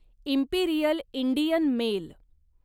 Imperial Indian mail